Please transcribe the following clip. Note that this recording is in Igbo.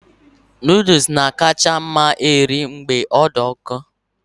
Noodles na-akacha mma eri mgbe ọ dị ọkụ